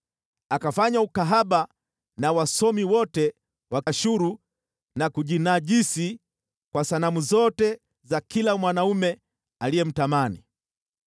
Akafanya ukahaba na wasomi wote wa Ashuru, na kujinajisi kwa sanamu zote za kila mwanaume aliyemtamani.